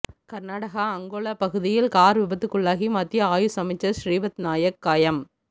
கர்நாடகா அங்கோலா பகுதியில் கார் விபத்துக்குள்ளாகி மத்திய ஆயுஷ் அமைச்சர் ஸ்ரீபத் நாயக் காயம்